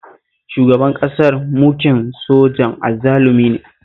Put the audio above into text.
Shugaban ƙasar mukin sojan azzalumi ne